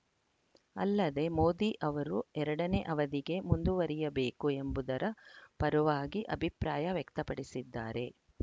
ಅಲ್ಲದೆ ಮೋದಿ ಅವರು ಎರಡನೇ ಅವಧಿಗೆ ಮುಂದುವರಿಯಬೇಕು ಎಂಬುದರ ಪರವಾಗಿ ಅಭಿಪ್ರಾಯ ವ್ಯಕ್ತಪಡಿಸಿದ್ದಾರೆ